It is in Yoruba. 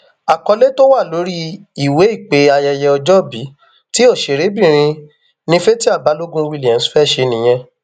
àkọlé tó wà lórí ìwé ìpè ayẹyẹ ọjọbí tí òṣèrébìnrin nni fatia balogun williams fẹẹ ṣe nìyẹn